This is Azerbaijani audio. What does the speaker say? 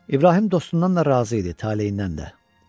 İbrahim dostundan da razı idi, taleyindən də.